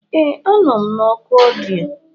Ee, a nọ m na oku ọdịyo.